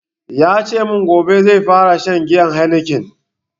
Yace mun gobe zai fara shan giyan heineken